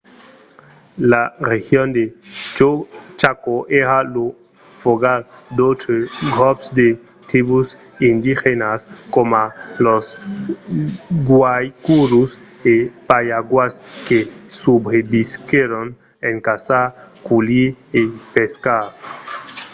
la region de chaco èra lo fogal d'autres grops de tribús indigènas coma los guaycurús e payaguás que subrevisquèron en caçar culhir e pescar